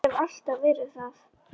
Og hef alltaf verið það.